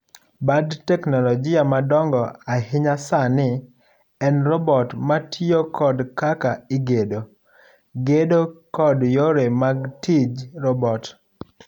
Bad teknologia madongo ahinya sani en robot matiyo kod kaka igedo, gedo kod yore mag tij robot.